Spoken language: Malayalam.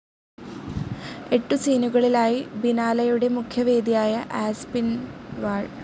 എട്ടു സീനുകളിലായി ബിനാലെയുടെ മുഖ്യവേദിയായ ആസ്പിൻവാൾ